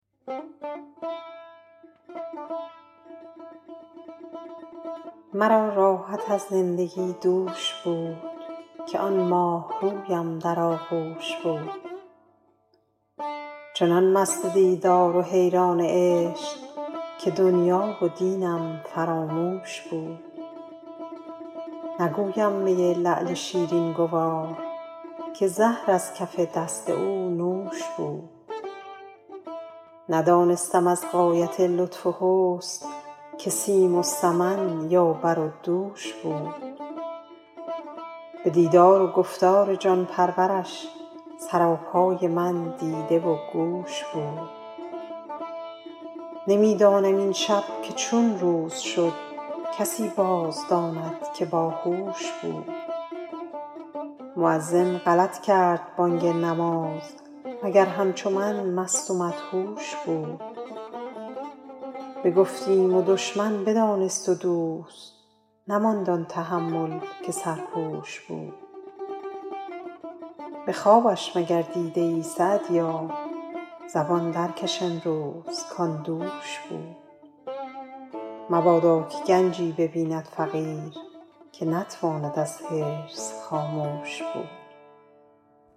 مرا راحت از زندگی دوش بود که آن ماهرویم در آغوش بود چنان مست دیدار و حیران عشق که دنیا و دینم فراموش بود نگویم می لعل شیرین گوار که زهر از کف دست او نوش بود ندانستم از غایت لطف و حسن که سیم و سمن یا بر و دوش بود به دیدار و گفتار جان پرورش سراپای من دیده و گوش بود نمی دانم این شب که چون روز شد کسی باز داند که با هوش بود مؤذن غلط کرد بانگ نماز مگر همچو من مست و مدهوش بود بگفتیم و دشمن بدانست و دوست نماند آن تحمل که سرپوش بود به خوابش مگر دیده ای سعدیا زبان در کش امروز کآن دوش بود مبادا که گنجی ببیند فقیر که نتواند از حرص خاموش بود